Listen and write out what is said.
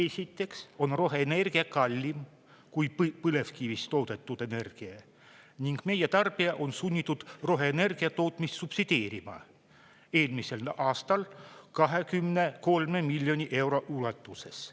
Esiteks on roheenergia kallim kui põlevkivist toodetud energia ning meie tarbija on sunnitud roheenergia tootmist subsideerima, eelmisel aastal 23 miljoni euro ulatuses.